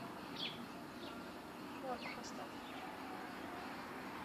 морг поставь